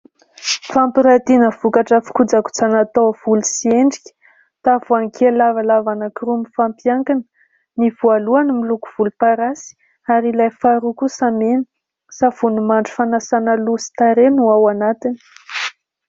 Fampirantiana vokatra fikojakojana taovolo sy endrika, tavoahangy kely lavalava anankiroa mifampiankina. Ny voalohany miloko volomparasy ary ilay faharoa kosa mena. Savony mandry fanasana loha sy tarehy no ao anatiny.